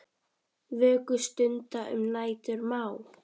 Vöku stunda um nætur má.